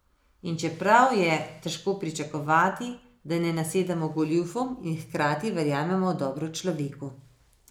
In čeprav je težko pričakovati, da ne nasedamo goljufom in hkrati verjamemo v dobro v človeku.